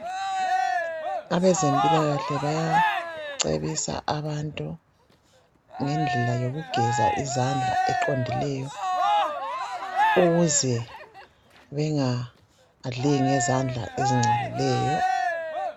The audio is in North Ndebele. Abezempilakahle bayacebisa abantu ngendlela yokugeza izandla okuqondileyo ukuze bengadli ngezandla ezingcolileyo